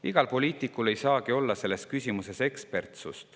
Iga poliitik ei saagi olla selles küsimuses ekspert.